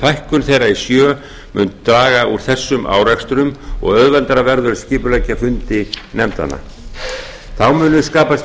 fækkun þeirra í sjö mun draga úr þessum árekstrum og auðveldara verður að skipuleggja fundi nefndanna þá munu skapast